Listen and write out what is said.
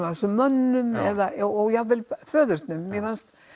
af þessum mönnum eða jafnvel föðurnum mér fannst